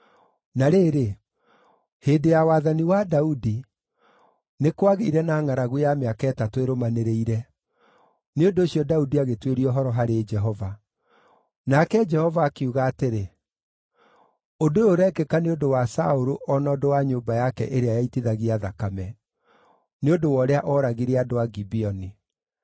Na rĩrĩ, hĩndĩ ya wathani wa Daudi, nĩ kwagĩire na ngʼaragu ya mĩaka ĩtatũ ĩrũmanĩrĩire; nĩ ũndũ ũcio Daudi agĩtuĩria ũhoro harĩ Jehova. Nake Jehova akiuga atĩrĩ, “Ũndũ ũyũ ũrekĩka nĩ ũndũ wa Saũlũ o na ũndũ wa nyũmba yake ĩrĩa yaitithagia thakame; nĩ ũndũ wa ũrĩa ooragire andũ a Gibeoni.”